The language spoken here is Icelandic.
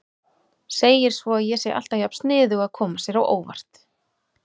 Segir svo að ég sé alltaf jafn sniðug að koma sér á óvart.